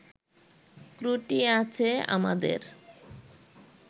ত্রুটি আছে আমাদের